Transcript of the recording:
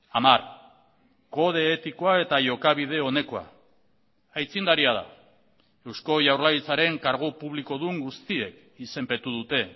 hamar kode etikoa eta jokabide onekoa aitzindaria da eusko jaurlaritzaren kargu publikodun guztiek izenpetu dute